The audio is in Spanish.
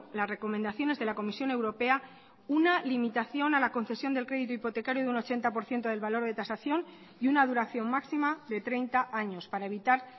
las recomendaciones de la comisión europea una limitación a la concesión del crédito hipotecario de un ochenta por ciento del valor de tasación y una duración máxima de treinta años para evitar